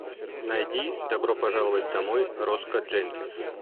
найди добро пожаловать домой роско дженкинс